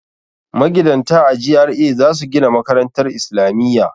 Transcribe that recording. Magidanta a GRA za su gina makarantar isilamiya.